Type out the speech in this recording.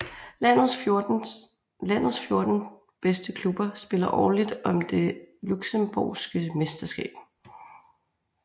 Landets 14 bedste klubber spiller årligt om det Luxembourgske mesterskab